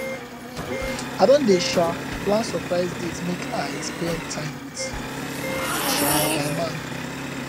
i don dey um plan surprise date make i spend time wit um my man